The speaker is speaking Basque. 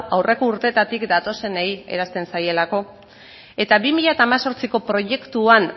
aurreko urtetatik datozenei eransten zaielako eta bi mila hemezortziko proiektuan